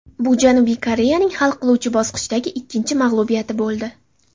Bu Janubiy Koreyaning hal qiluvchi bosqichdagi ikkinchi mag‘lubiyati bo‘ldi.